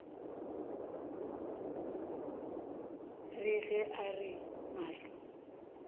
re ge a re mahlo